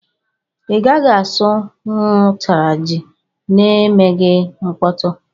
I gaghị asụ nwụ ụtara jị na emeghị mkpọtu.